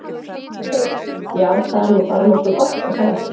Heimir: Já, það er nú bara nokkuð gott er það ekki?